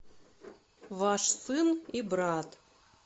ваш сын и брат